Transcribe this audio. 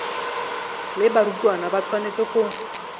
le barutwana ba tshwanetse go